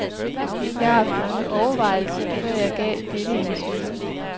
Jeg har haft mange overvejelser, før jeg gav dette interview.